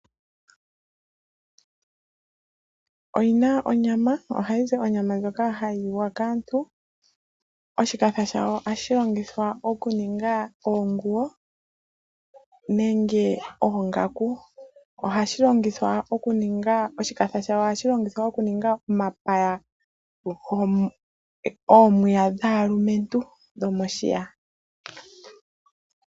Oyinna onyama. Ohayi zi onyama ndjoka hayi liwa kaantu. Oshipa shayo ohashi longithwa oku ninga oonguwo nenge oongaku. Oshipa shayo ohashi longithwa oku ninga omapaya, oomiya dhaalumentu dhomoshiya.